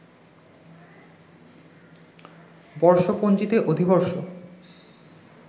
বর্ষপঞ্জিতে অধিবর্ষ